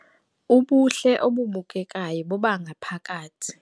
Ubuhle obubukekayo bobangaphakathi